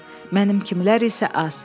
Mənim kimilər isə az.